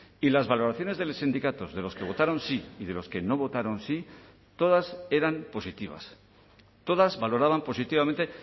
y las valoraciones de los sindicatos de los que votaron sí y de los que no votaron sí todas eran positivas todas valoraban positivamente